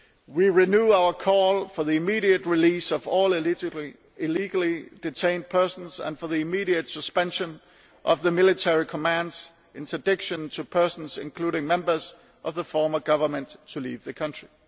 We renew our call for the immediate release of all illegally detained persons and for the immediate suspension of the Military Command's prohibition on persons, including members of the former government, leaving the country.